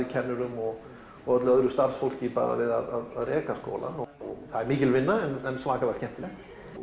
kennurum og og öllu öðru starfsfólki bara við að reka skólann það er mikil vinna en svakalega skemmtileg